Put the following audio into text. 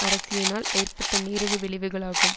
அரசியனால் ஏற்பட்ட நீரடி விளைவுகளாகும்